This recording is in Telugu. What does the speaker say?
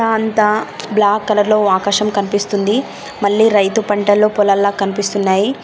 ఆ అంత బ్లాక్ కలర్ లో ఆకాశం కనిపిస్తుంది. మళ్లీ రైతు పంటల్లో పొలాల్లో కనిపిస్తున్నాయి.